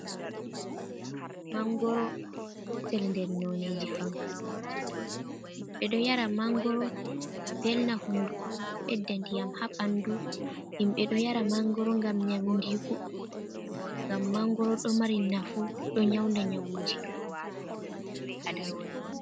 mangoro gotel nder noneji fankalloje. Himɓe ɗo yara mangoro ngam velna hunduko, ngam bɓedda ndiyam haa ɓandu. Himɓe ɗo yara mangoro ngam nyaundiku ɗuɗɗum, ngam mangoro ɗo mari nafu ɗo nyaunda nyawuji ɗuɗɗum haa ɓandu biɓɓe aadama.